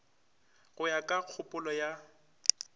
go ya ka kgopolo ya